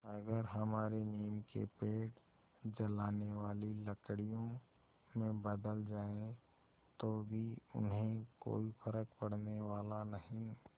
अगर हमारे नीम के पेड़ जलाने वाली लकड़ियों में बदल जाएँ तो भी उन्हें कोई फ़र्क पड़ने वाला नहीं